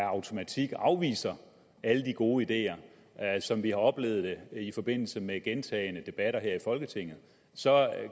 automatik afviser alle de gode ideer som vi har oplevet det i forbindelse med gentagne debatter her i folketinget så